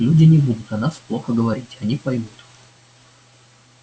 люди не будут о нас плохо говорить они поймут